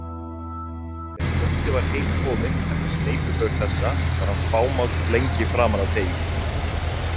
Þegar bóndi var heim kominn eftir sneypuför þessa var hann fámáll lengi framan af degi.